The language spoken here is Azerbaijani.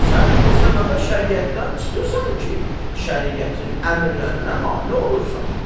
Sən o səbəbə şəriətdən çıxırsan ki, şəriətin əmrlərinə mane olursan.